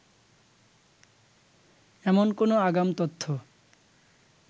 এমন কোন আগাম তথ্য